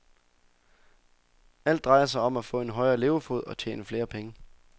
Alt drejer sig om at få en højere levefod og tjene flere penge.